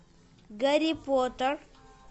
гарри поттер